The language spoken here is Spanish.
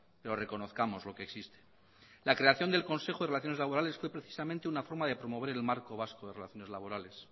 pero reconozcámoslo que existe la creación del consejo de las relaciones laborales fue precisamente una forma de promover el marco vasco de relaciones laborales